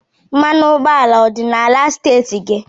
Mmanụ ụgbọala ọ dị n'ala steeti gị?